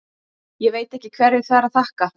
Ég veit ekki hverju það er að þakka.